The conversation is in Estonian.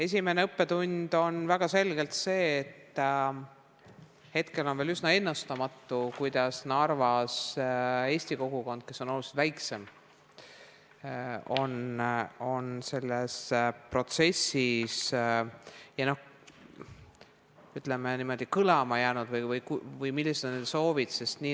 Esimene õppetund on väga selgelt see, et hetkel on veel üsna ennustamatu, kuidas Narvas eesti kogukond, kes on oluliselt väiksem, on selles protsessis, ütleme niimoodi, kõlama jäänud või millised on nende soovid.